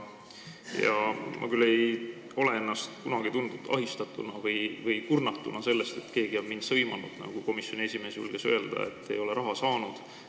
Ma küll ei ole kunagi ennast tundnud ahistatuna või kurnatuna sellest, et keegi oleks mind sõimanud selle eest, et ta ei ole raha saanud, nagu komisjoni esimees julges öelda.